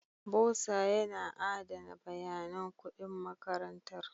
Bursar yana adana bayanan kuɗin makarantar.